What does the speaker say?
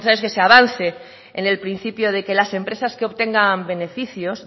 necesario es que se avance en el principio de que las empresas que obtengan beneficios